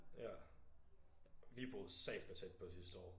Ja vi boede satme tæt på sidste år